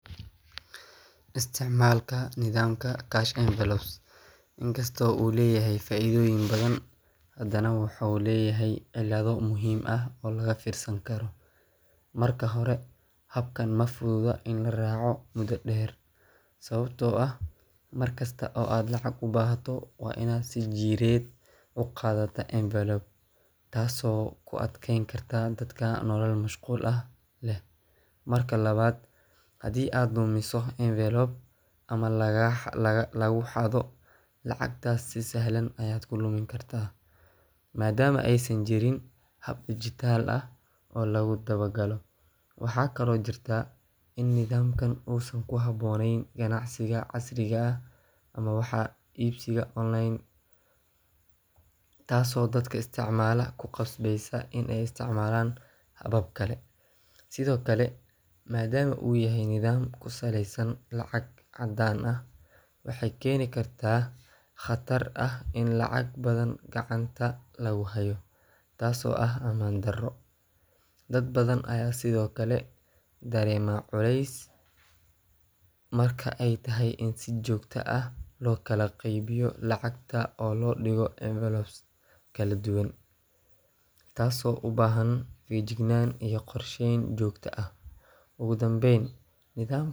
Isticmaalka nidaamka cash envelopes inkastoo uu leeyahay faa'iidooyin badan, haddana wuxuu leeyahay cillado muhiim ah oo laga fiirsan karo. Marka hore, habkan ma fududa in la raaco muddo dheer, sababtoo ah mar kasta oo aad lacag u baahato, waa inaad si jireed u qaadataa envelope, taasoo ku adkeyn karta dadka nolol mashquul ah leh. Marka labaad, haddii aad lumiso envelope ama lagu xado, lacagtaas si sahlan ayaad ku lumin kartaa, maadaama aysan jirin hab dijitaal ah oo lagu dabagalo. Waxaa kaloo jirta in nidaamkan uusan ku habboonayn ganacsiga casriga ah ama wax iibsiga online, taasoo dadka isticmaala ku qasbeysa inay isticmaalaan habab kale. Sidoo kale, maadaama uu yahay nidaam ku saleysan lacag caddaan ah, waxay keeni kartaa khatar ah in lacag badan gacanta lagu hayo, taasoo ah ammaan darro. Dad badan ayaa sidoo kale dareema culays marka ay tahay in si joogto ah loo kala qaybiyo lacagta oo loo dhigo envelopes kala duwan, taasoo u baahan feejignaan iyo qorsheyn joogto ah. Ugu dambeyn.